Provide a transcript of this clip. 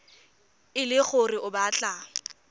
e le gore o batla